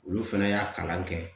Olu fana y'a kalan kɛ